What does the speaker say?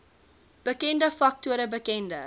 bekende faktore bekende